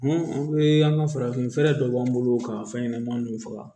an ka farafinfɛrɛ dɔ b'an bolo ka fɛn ɲɛnɛmanin nunnu faga